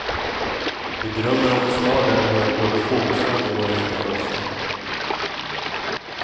Vi drömmer om en stad där vi hör både fågelsång och våra egna röster.